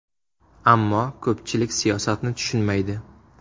Ammo ko‘pchilik siyosatni tushunmaydi”.